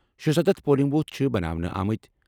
شُستتھ polling booth چھِ بناونہٕ آمٕتۍ۔